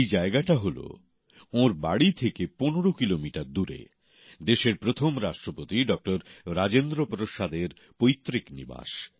সেই জায়গাটা হল ওঁর ঘর থেকে পনেরো কিলোমিটার দূরে দেশের প্রথম রাষ্ট্রপতি ডক্টর রাজেন্দ্র প্রসাদের পৈত্রিক নিবাস